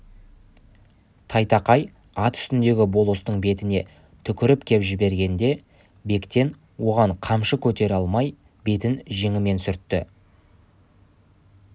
тайтақай ат үстіндегі болыстың бетіне түкіріп кеп жібергенде бектен оған қамшы көтере алмай бетін жеңімен сүртті